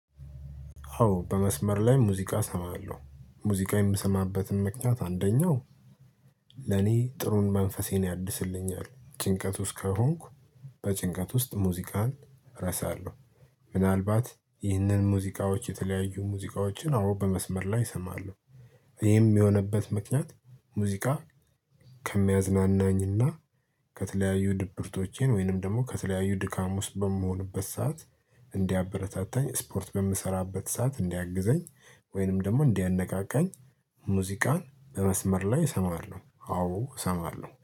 ኦ በመስመር ላይ ሙዚቃ እሰማለሁ ሙዚቃ የምሰማበትም ምክንያት አንደኛው ለኔ ጥሩን መንፈሴን ያድስልኛል ጭንቀት ውስጥ ከሆንኩ በጭንቀት ውስጥ ሙዚቃን ረሳለሁ። ምናልባት ይህንን ሙዚቃዎች የተለያዩ ሙዚቃዎችን አውሮ በመስመር ላይ እሰማለሁ። ይሄም የሆነበት ምክንያት ሙዚቃ ከሚያዝናናኝና ከተለያዩ ድብርቶቼን ወይንም ደግሞ ከተለያዩ ድካም ውስጥ በመሆንበት ሰዓት እንዲያበረታታኝ ስፖርት በምሰራበት ሰዓት እንዲያግዘኝ ወይንም ደግሞ እንዲያነቃቃኝ ሙዚቃን በመስመር ላይ እሰማለሁ። አዎ እሰማለሁ